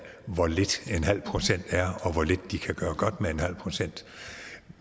hvor lidt en halv procent er og hvor lidt de kan gøre godt med med en halv procent